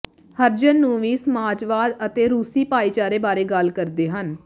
ਹਰਜਨ ਨੂੰ ਵੀ ਸਮਾਜਵਾਦ ਅਤੇ ਰੂਸੀ ਭਾਈਚਾਰੇ ਬਾਰੇ ਗੱਲ ਕਰਦੇ ਹਨ